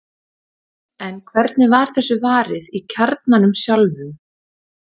en hvernig var þessu varið í kjarnanum sjálfum